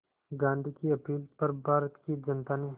गांधी की अपील पर भारत की जनता ने